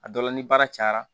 A dɔ la ni baara cayara